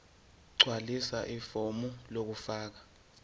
gqwalisa ifomu lokufaka